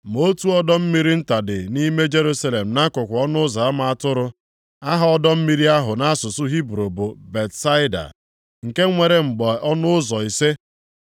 Ma otu ọdọ mmiri nta dị nʼime Jerusalem nʼakụkụ Ọnụ ụzọ ama Atụrụ. Aha ọdọ mmiri ahụ nʼasụsụ Hibru bụ Betsaida, nke nwere mgbe ọnụ ụzọ ise.